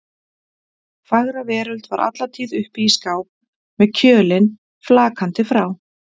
Fagra veröld var alla tíð uppi í skáp með kjölinn flakandi frá